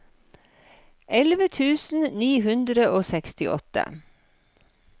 elleve tusen ni hundre og sekstiåtte